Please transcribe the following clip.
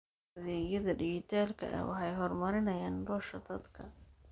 Adeegyada dijitaalka ah waxay horumariyaan nolosha dadka.